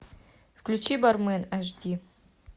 включи бармен аш ди